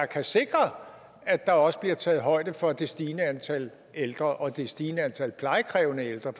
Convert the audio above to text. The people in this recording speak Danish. kan sikre at der også bliver taget højde for det stigende antal ældre og det stigende antal plejekrævende ældre